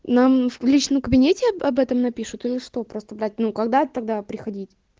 нам в личном кабинете об этом напишут или что просто блять ну когда тогда приходить